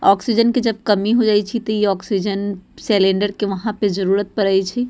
ऑक्सीजन के जब कमी होए जाए छी ती इ ऑक्सीजन सिलेंडर के उहाँ पे जरुरत पड़े छी।